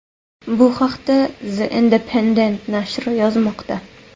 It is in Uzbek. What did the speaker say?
Bu haqda The Independent nashri yozmoqda .